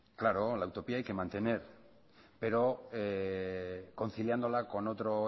claro la utopía hay que mantener pero conciliándola con otro